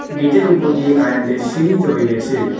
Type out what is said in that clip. Gate -এর ওপর দিয়ে কারেন্টের সিঁড়ি রয়ে গেছে।